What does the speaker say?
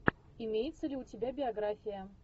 имеется ли у тебя биография